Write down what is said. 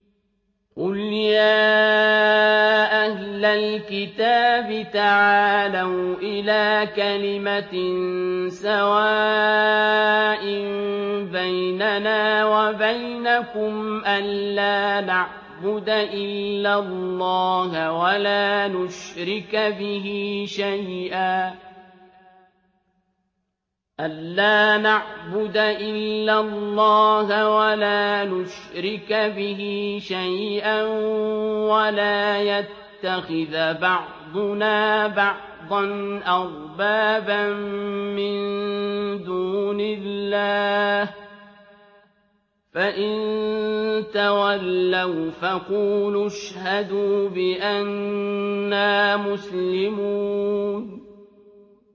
قُلْ يَا أَهْلَ الْكِتَابِ تَعَالَوْا إِلَىٰ كَلِمَةٍ سَوَاءٍ بَيْنَنَا وَبَيْنَكُمْ أَلَّا نَعْبُدَ إِلَّا اللَّهَ وَلَا نُشْرِكَ بِهِ شَيْئًا وَلَا يَتَّخِذَ بَعْضُنَا بَعْضًا أَرْبَابًا مِّن دُونِ اللَّهِ ۚ فَإِن تَوَلَّوْا فَقُولُوا اشْهَدُوا بِأَنَّا مُسْلِمُونَ